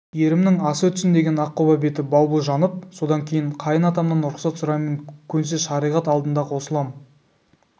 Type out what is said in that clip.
ерімнің асы өтсін деген аққұба беті балбұл жанып содан кейін қайын атамнан рұқсат сұраймын көнсе шариғат алдында қосылам